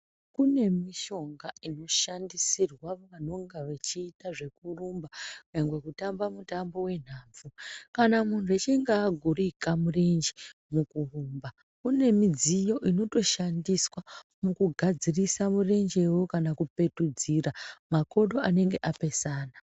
Kune mishonga inoshandisirwa vanonga vechiita zvekurumba nyangwe kutamba mutambo wenhabvu kana muntu achinge agurika murenje mukurumba kune midziyo inotoshandiswa mukugadzirsa murenjewo kana kupetudzira makodo anenge apesana.